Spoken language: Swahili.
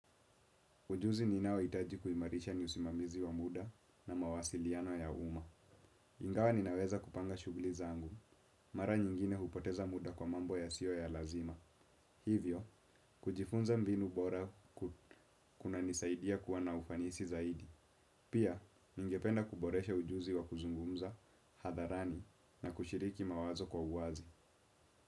Ujuzi ninaohitaji kuimarisha ni usimamizi wa muda na mawasiliano ya umma. Ingawa ninaweza kupanga shughuli zangu. Mara nyingine hupoteza muda kwa mambo yasiyo ya lazima. Hivyo, kujifunza mbinu bora kunanisaidia kuwabna ufanisi zaidi. Pia, ninge penda kuboresha ujuzi wa kuzungumza, hadharani, na kushiriki mawazo kwa uwazi.